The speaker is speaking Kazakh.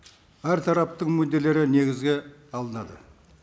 әр тараптың мүдделері негізге алынады